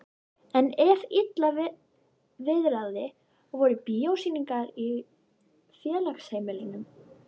En ef illa viðraði voru bíósýningar í félagsheimilinu.